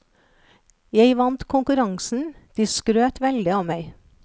Jeg vant konkurransen, de skrøt veldig av meg.